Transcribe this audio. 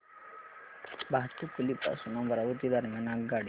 भातुकली पासून अमरावती दरम्यान आगगाडी